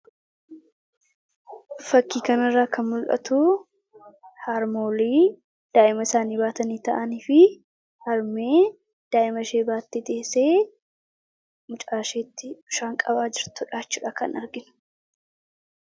Fakkii kana irraa kan mul'atu, harmoolii daa'ima isaanii baatanii taa'anii fi harmee daa'ima ishee baattee teessee, mucaa isheetti bishaan qabaa jirtu jechuudha kan arginu.